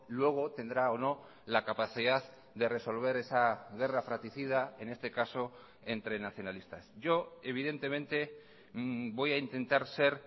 luego tendrá o no la capacidad de resolver esa guerra fraticida en este caso entre nacionalistas yo evidentemente voy a intentar ser